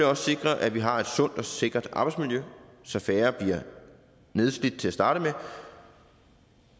også sikre at vi har et sundt og sikkert arbejdsmiljø så færre bliver nedslidt til at starte med